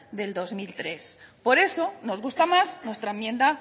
del dos mil tres por eso nos gusta más nuestra enmienda